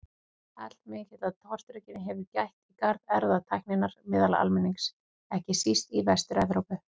Allmikillar tortryggni hefur gætt í garð erfðatækninnar meðal almennings, ekki síst í Vestur-Evrópu.